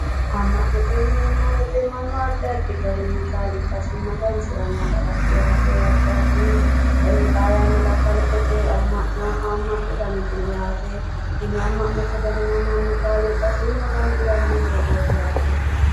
Ama'note yineemo woyite mannu addi addi garinni kaaliqasi maganisiranno garaat yaate addi addi xaa yannara kaliqete ama'no haamatu danit no yaate tini ama'note danino mannu kaaliqasi maganisranno dogooti yaate